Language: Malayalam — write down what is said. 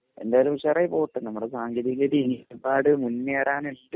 എന്തായാലും ഉഷാറായി പോട്ടെ നമ്മളുടെ സാങ്കേതിക വിദ്യ ഒരുപാട് മുന്നേറാൻ ഉണ്ട്